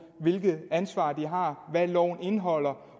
hvilket ansvar de har hvad loven indeholder